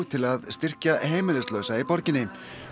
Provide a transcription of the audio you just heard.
til að styrkja heimilislausa í borginni